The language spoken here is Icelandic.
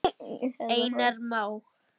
Einar Má.